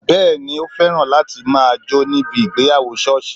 Bẹẹni, o féràn láti máa jó ní ibi ìgbéyàwó sọ́ọ̀sì